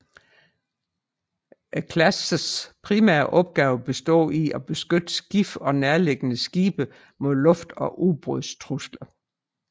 Klassens primære opgaver består i at beskytte skibet og nærliggende skibe mod luft og ubådstrusler